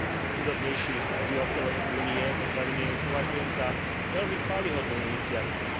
najchudobnejších obyvateľov Únie potravinami, považujem za veľmi chvályhodnú iniciatívu.